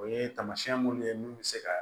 O ye tamasiyɛn minnu ye mun bɛ se ka